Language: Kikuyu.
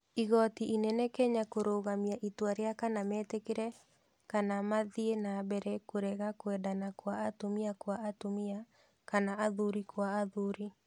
Igoti inene Kenya kũrũgamia itua rĩa kana metĩkĩrie kana mathiĩ na mbere kũrega kwendana kwa atumia kwa atumia kana athuri kwa athuri.